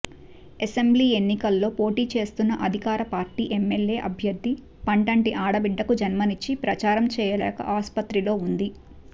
assembly ఎన్నికల్లో పోటీ చేస్తున్న అధికార పార్టీ ఎమ్మెల్యే అభ్యర్థి పండంటి ఆడబిడ్డకు జన్మనిచ్చి ప్రచారం చెయ్యలేక ఆసుపత్రిలో ఉంది